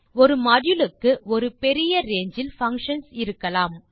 ஒரு மாடியூல் க்கு ஒரு பெரிய ரங்கே இல் பங்ஷன் கள் இருக்கலாம்